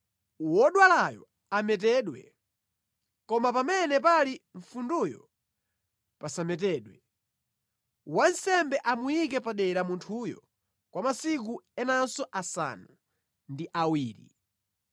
wodwalayo ametedwe, koma pamene pali mfunduyo pasametedwe. Wansembe amuyike padera munthuyo kwa masiku enanso asanu ndi awiri.